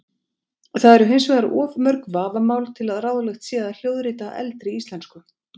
Það eru hins vegar of mörg vafamál til að ráðlegt sé að hljóðrita eldri íslensku.